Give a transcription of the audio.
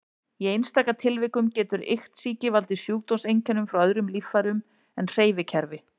Í einstaka tilvikum getur iktsýki valdið sjúkdómseinkennum frá öðrum líffærum en hreyfikerfi.